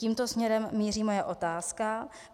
Tímto směrem míří moje otázka.